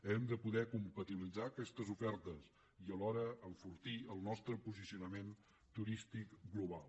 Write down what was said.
hem de poder compatibilitzar aquestes ofertes i alhora enfortir el nostre posicionament turístic global